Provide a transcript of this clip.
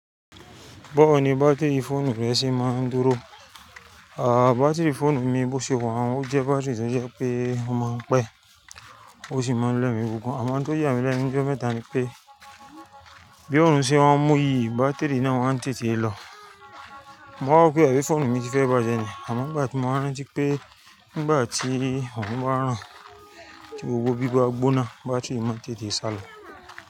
Bawo ní bátìrì fóònù rẹ se máa ń dúró. À, bátìrì fóònù mi bó ṣe waa n, ó jẹ́ bátìrì tó jẹ́ pé ó máa ń pẹ́, ó sì máa ń lẹ́mi pupo. Àmọ́ n tó yá mi lẹ́nu ni jo mẹ́ta ni pé bí òrun ṣe n mú yìí, bátìrì náà wa n tètè lọ. Mowa wọ̀ pé àbí fóònù mi ti fẹ́ bàjẹ́ ni, àmọ́ nigbá ti mọ̀ rántí pé nígbà tí òrun bá ràn, tí gbogbo bí bá gbóná, bátìrì máa ń tètè sálọ.